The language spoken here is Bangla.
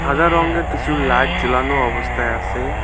সাদা রঙ্গের কিছু লাইট জ্বলানো অবস্থায় আসে ।